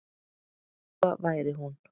Lóa væri hún.